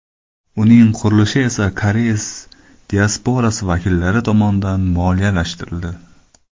Uning qurilishi esa koreys diasporasi vakillari tomonidan moliyalashtirildi.